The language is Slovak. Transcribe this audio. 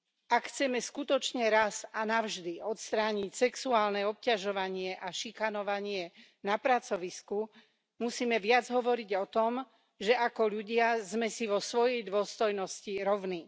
Ak chceme skutočne raz a navždy odstrániť sexuálne obťažovanie a šikanovanie na pracovisku, musíme viac hovoriť o tom, že ako ľudia sme si vo svojej dôstojnosti rovní.